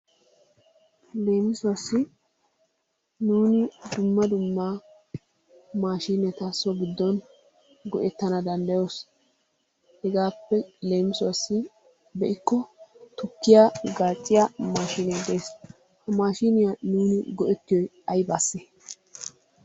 Leemisuwassi nuuni dumma dumma maashiineta so giddon go'ettana danddayoos. Hegaappe leemisuwassi be'ikko tukkiya gaacciya maashiinee de'es. He maashiiniya nuuni go'ettiyoy ayibaasse?